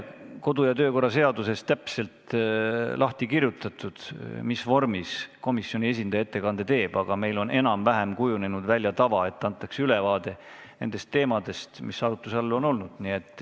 Kodu- ja töökorra seaduses ei ole täpselt lahti kirjutatud, mis vormis komisjoni esindaja ettekande teeb, aga meil on enam-vähem kujunenud välja tava, et antakse ülevaade teemadest, mis arutluse all on olnud.